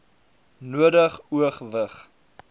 nodig o gewig